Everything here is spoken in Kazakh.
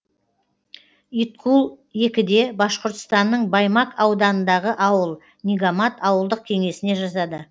иткул екіде башқұртстанның баймак ауданындағы ауыл нигамат ауылдық кеңесіне жатады